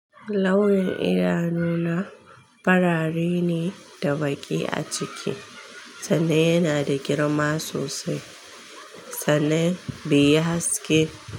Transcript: Launin idanu na farare ne da baƙi a ciki. Sannan yana da girma sosai. Sannan beyi haske.